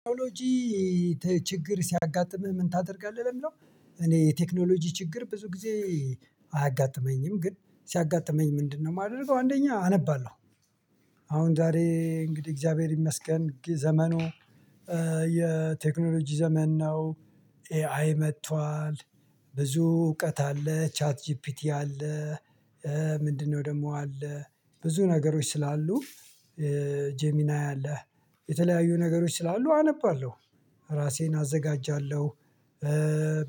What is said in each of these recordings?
ቴክኖሎጂ ችግር ሲያጋጥምህ ምን ታደርጋለህ ለሚለው? እኔ የቴክኖሎጂ ችግር ብዙ ጊዜ አያጋጥመኝም ግን ሲያጋጥመኝ ምንድነው የማደርገው? አንደኛ አነባለሁ። አሁን ዛሬ እንግዲህ እግዚአብሔር ይመስገን ዘመኑ የቴክኖሎጂ ዘመን ነው። ኤአይ መጥቷል ብዙ እውቀት አለ ቻት ጂፒቲ አለ። ምንድነው ደግሞ አለ ብዙ ነገሮች ስላሉ። ጄሚና አለ። የተለያዩ ነገሮች ስላሉ አነባለሁ ራሴን አዘጋጃለሁ።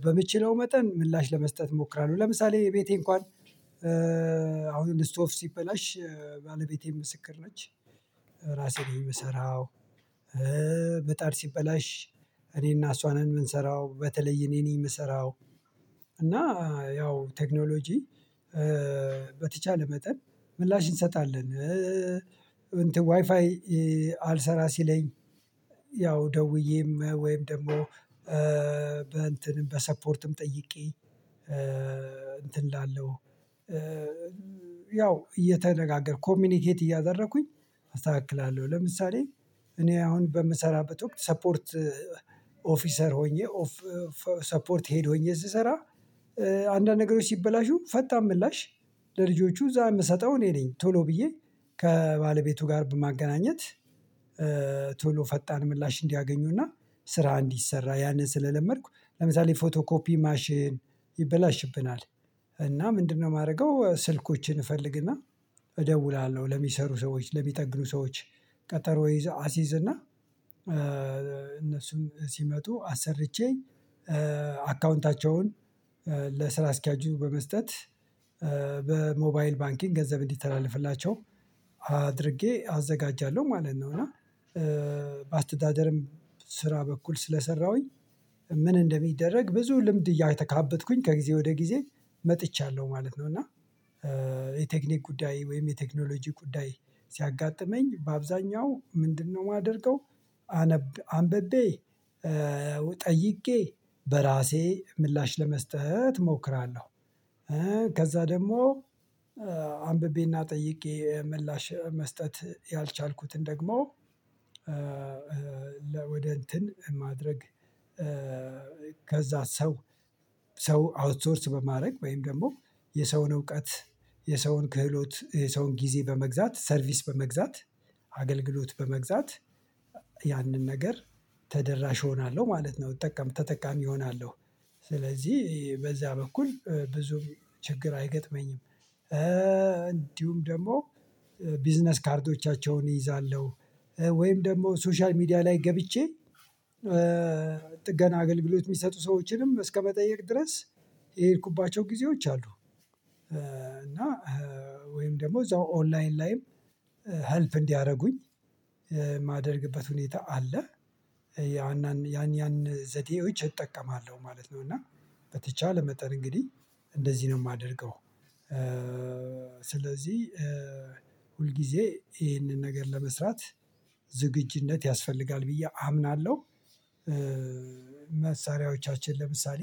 በምችለው መጠን ምላሽ ለመስጠት እሞክራለሁ ለምሳሌ ቤቴ እንኳን አሁን ዕስቶፍ ሲበላሽ ባለቤቴ ምስክር ነች። ራሴ ነኝ ምሰራው። በምጣድ ሲበላሽ እኔና እሷን ነን የምንሰራው በተለይ እኔ ነኝ የምሰራው። እና ያው ቴክኖሎጂ በተቻለ መጠን ምላሽ እንሰጣለን። ዋይፋይ አልሰራ ሲለኝ ያው ደውዬም ወይም ደግሞ በእንትንም በሰፗርትም ጠይቄ እንትን እላለሁ። ያው እየተነጋገርኩ ኮምኒኬት እያደረኩኝ አስተካክላለሁ። ለምሳሌ እኔ አሁን በምሰራበት ወቅት ሰፗርት ኦፊሰር ሆኜ ሰፗርት ሄድ ሁኝ ስሰራ። አንዳንድ ነገሮች ሲበላሹ ፈጣን ምላሽ ለልጆቹ እዛ የምሰጠው እኔ ነኝ ቶሎ ብዬ ከባለቤቱ ጋር በማገናኘት። ቶሎ ፈጣን ምላሽ እንዲያገኙና ስራ እንዲሰራ ያንን ስለለመድኩ ለምሳሌ ፎቶ ኮፒ ማሽን ይበላሽብናል። እና ምንድነው ማርገው ስልኮችን እፈልግና እደውላለሁ ለሚሰሩ ሰዎች ለሚጠግኑ ሰዎች ቀጠሮ ይዘው አሲዝና። እነሱን ሲመጡ አሰርቼ አካውንታቸውን ለስራ አስኪያጁ በመስጠት በሞባይል ባንኪንግ ገንዘብ እንዲተላለፍላቸው አድርጌ አዘጋጃለሁ ማለት ነው። እና በአስተዳደርም ስራ በኩል ስለሰራሁኝ ምን እንደሚደረግ ብዙ ልምድ እያካበትኩኝ ከጊዜ ወደ ጊዜ መጥቻለሁ ማለት ነው። እና የቴክኒክ ጉዳይ ወይም የቴክኖሎጂ ጉዳይ ሲያጋጥመኝ በአብዛኛው ምንድነው የማደርገው? አንብቤ ጠይቄ በራሴ ምላሽ ለመስጠት እሞክራለሁ። ከዛ ደግሞ አንብቤና ጠይቄ ምላሽ መስጠት ያልቻልኩትን ደግሞ ወደ እንትን ማድረግ። ከዛ ሰው ሰው አውትሶርስ በማድረግ ወይም ደግሞ የሰውን እውቀት የሰውን ክህሎት የሰውን ጊዜ በመግዛት ሰርቪስ በመግዛት አገልግሎት በመግዛት ያንን ነገር ተደራሽ እሆናለሁ ማለት ነው ተጠቃሚ እሆናለሁ። ስለዚህ በዛ በኩል ብዙ ችግር አይገጥመኝም። እንዲሁም ደግሞ ቢዝነስ ካርዶቻቸውን እይዛለሁ ወይም ደግሞ ሶሻል ሚዲያ ላይ ገብቼ ጥገና አገልግሎት የሚሰጡ ሰዎችንም እስከመጠየቅ ድረስ የሄድኩባቸው ጊዜዎች አሉ። እና ወይም ደግሞ እዛው ኦንላይን ላይም ኀልፕ እንዲያደርጉኝ የማደርግበት ሁኔታ አለ። ያን ያን ያን ዘዴዎች እጠቀማለሁ ማለት ነው እና በተቻለ መጠን እንግዲህ እንደዚህ ነው የማደርገው። ስለዚህ ሁል ጊዜ ይህንን ነገር ለመስራት ዝግጅነት ያስፈልጋል ብዬ አምናለሁ። መሳሪያዎቻችን ለምሳሌ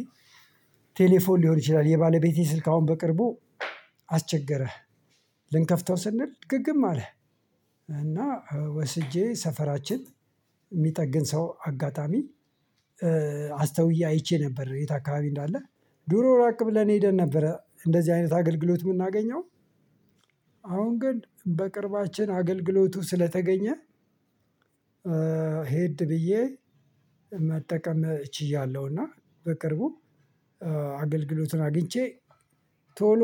ቴሌፎን ሊሆን ይችላል የባለቤቴ ስልክ አሁን በቅርቡ አስቸገረ። ልንከፍተው ስንል ግግም አለ። እና ወስጄ ሰፈራችን የሚጠግን ሰው አጋጣሚ አስተውዬ አይቼ ነበር የት አካባቢ እንዳለ። ድሮ ራቅ ብለን የሄደን ነበር እንደዚህ አይነት አገልግሎት የምናገኘው። አሁን ግን በቅርባችን አገልግሎቱ ስለተገኘ። ሄድ ብዬ መጠቀም ችያለሁ። እና በቅርቡ አገልግሎቱን አግኝቼ ቶሎ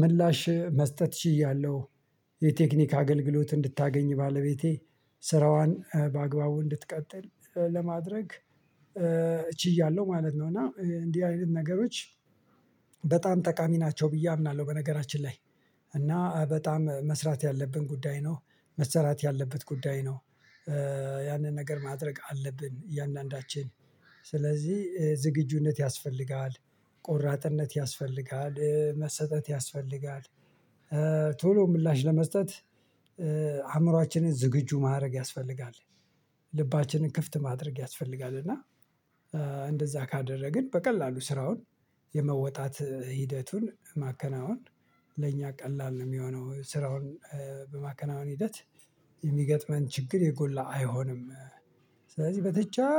ምላሽ መስጠት ችያለሁ። የቴክኒክ አገልግሎት እንድታገኝ ባለቤቴ ስራዋን በአግባቡ እንድትቀጥል ለማድረግ ችያለሁ ማለት ነው። እና እንዲ አይነት ነገሮች በጣም ጠቃሚ ናቸው ብዬ አምናለሁ። በነገራችን ላይ እና በጣም መስራት ያለብን ጉዳይ ነው። መስራት ያለበት ጉዳይ ነው። ያንን ነገር ማድረግ አለብን እያንዳንዳችን ስለዚህ ዝግጁነት ያስፈልጋል። ቆራጥነት ያስፈልጋል መሰጠት ያስፈልጋል። ቶሎ ምላሽ ለመስጠት አእምሮአችንን ዝግጁ ማረግ ያስፈልጋል። ልባችንን ክፍት ማድረግ ያስፈልጋል እና እንደዛ ካደረግን በቀላሉ ስራውን የመወጣት ሂደቱን ማከናወን ለእኛ ቀላል ነው የሚሆነው። ስራውን በማከናወን ሂደት የሚገጥመን ችግር የጎላ አይሆንም። ስለዚህ በትቻ